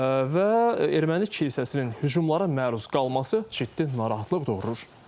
Və erməni kilsəsinin hücumlara məruz qalması ciddi narahatlıq doğurur.